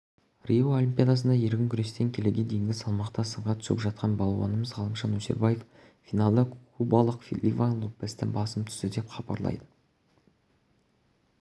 рио олимпиадасында еркін күрестен келіге дейінгі салмақта сынға түсіп жатқан балуанымыз ғалымжан өсербаев финалда кубалық ливан лопестен басым түсті деп хабарлайды